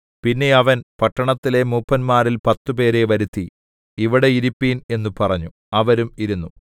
പിന്നെ അവൻ പട്ടണത്തിലെ മൂപ്പന്മാരിൽ പത്തുപേരെ വരുത്തി ഇവിടെ ഇരിപ്പിൻ എന്നു പറഞ്ഞു അവരും ഇരുന്നു